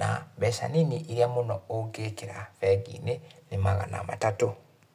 na mbeca nini iria mũno ũngĩkĩra bengi-inĩ ni magana matatũ.